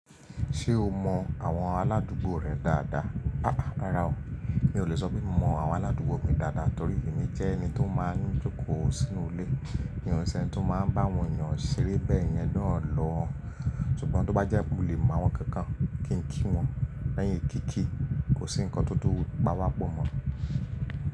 Ṣé o mọ àwọn aládùúgbò rẹ dáadáa? Rara o. Mi ò lè sọ pé mo mọ àwọn aládùúgbò mi dáadáa torí èmi jẹ́ ẹni tó máa ń jókòó sínú ilé. Mi o n sẹ́ni tó máa ń bá wọ̀n eeyàn ṣeré bẹ́ẹ̀ yẹn naa lò. Ṣùgbọ́n tó bá jẹ́ mo lè mọ àwọn kookan, kí n kí wọn lẹ́yìn kí kí, kò sí ǹkan tó tùn páwápọ̀ mọ́.